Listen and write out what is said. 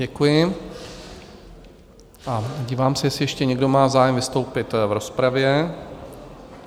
Děkuji a dívám se, jestli ještě někdo má zájem vystoupit v rozpravě?